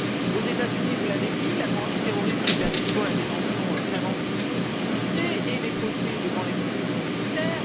Aux États Unis, vous l'avez dit, la loi antiterroriste permet toujours la détention préventive illimitée et les procès devant les tribunaux militaires.